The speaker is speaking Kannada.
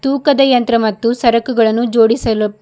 ತೂಕದ ಯಂತ್ರ ಮತ್ತು ಸರಕುಗಳನ್ನು ಜೋಡಿಸಲು--